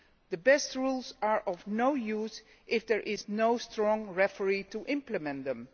The best rules are of no use if there is no strong referee to implement them.